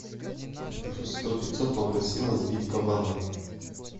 плюс сто пятьсот попросила сбить кабана